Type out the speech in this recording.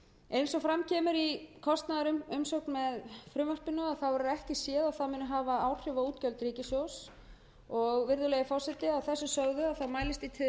eins og fram kemur í kostnaðarumsögn með frumvarpinu verður ekki séð að það muni hafa áhrif á útgjöld ríkissjóðs virðulegi forseti að þessu